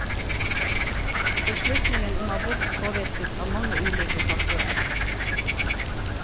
Beslutningen om abort påvirkes av mange ulike faktorer.